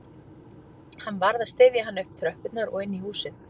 Hann varð að styðja hana upp tröppurnar og inn í húsið